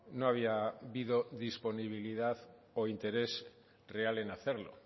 no había habido disponibilidad o interés real en hacerlo